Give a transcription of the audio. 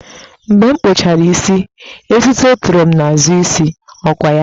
Mgbe m kpụchara isi, etuto toro m n'azụ isi, ọ kwa ya?